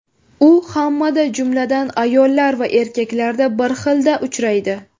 U hammada, jumladan, ayollar va erkaklarda bir xilda uchraydi.